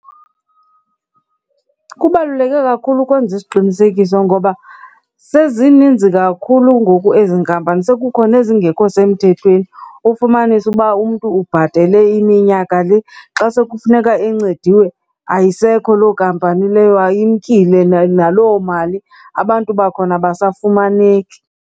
Kubaluleke kakhulu ukwenza isiqinisekiso ngoba sezininzi kakhulu ngoku ezi nkampani, sekukho nezingekho semthethweni. Ufumanise uba umntu ubhatele iminyaka le xa sekufuneka encediwe ayisekho loo kampani leyo, imkile naloo mali. Abantu bakhona abasafumaneki.